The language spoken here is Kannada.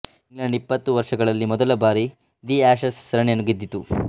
ಇಂಗ್ಲೆಂಡ್ ಇಪ್ಪತ್ತು ವರ್ಷಗಳಲ್ಲಿ ಮೊದಲ ಬಾರಿ ದಿ ಆಶಸ್ ಸರಣಿಯನ್ನು ಗೆದ್ದಿತು